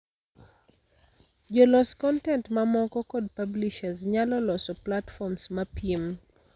Jo los kontent mamoko kod publishers nyalo loso platforms mapiem.